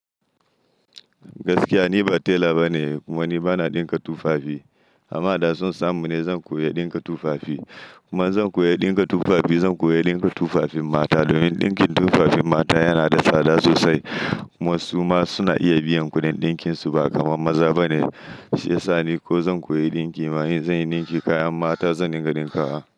Gaskiya ni ba tela bane kuma ni bana ɗinka tufafi. Amma da sun samu ne zan koya ɗinka tufafi. Kuma zan koya ɗinka tufafi zan koya ɗinka tufafin mata domin ɗinkin tufafin mata yana da tsada sosai. Kuma su ma suna iya biyan kuɗin ɗinkinsu ba kamar maza bane. Shi ya sa ni ko zan koya ɗinki ma in zanyi ɗinki kayan mata zan dinga ɗinka wa.